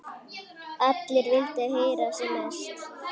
Allir vildu heyra sem mest.